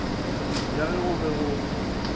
ja ge go be go